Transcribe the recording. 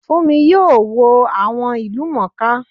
Fúnmi yóò wo àwọn ìlúmọọká